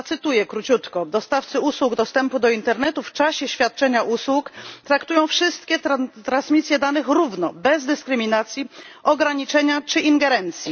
Zacytuję króciutko dostawcy usług dostępu do internetu w czasie świadczenia usług traktują wszystkie transmisje danych równo, bez dyskryminacji, ograniczenia czy ingerencji.